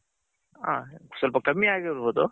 ಹ ಸ್ವಲ್ಪ ಕಮ್ಮಿ ಆಗಿರ್ಬೌದು